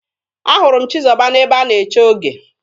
Ahụrụ m Chizọba n'ebe a na-eche oge.